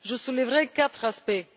Je soulèverai quatre aspects.